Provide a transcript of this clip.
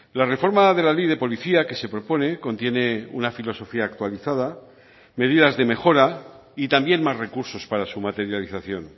la reforma de la ley de policía que se propone contiene una filosofía actualizada medidas de mejora y también más recursos para su materialización